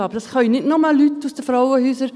Das können nicht nur Leute aus den Frauenhäusern.